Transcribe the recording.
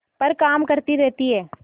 पर काम करती रहती है